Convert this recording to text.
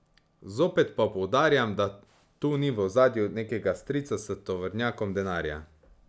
Zopet pa poudarjam, da tu ni v ozadju nekega strica s tovornjakom denarja.